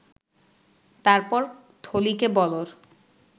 তারপর থলিকে বলর